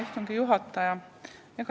Hea istungi juhataja!